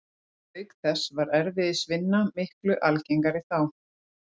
Auk þess var erfiðisvinna miklu algengari þá.